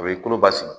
O bɛ kolo basigi